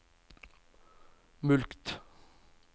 mulkt